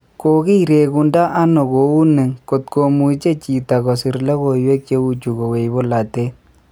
"Kokiregundo ano kouni kot komuche chito kosir logoiwek cheuchu kowech bolotet.